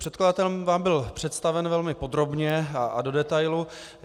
Předkladatelem vám byl představen velmi podrobně a do detailu.